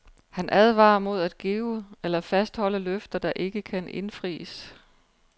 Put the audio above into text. Han advarer mod at give eller fastholde løfter, der ikke kan indfries.